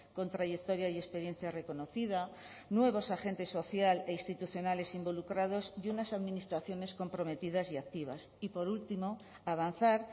con trayectoria y experiencia reconocida nuevos agentes social e institucionales involucrados y unas administraciones comprometidas y activas y por último avanzar